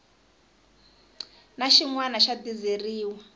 na xin wana xa dizeriwa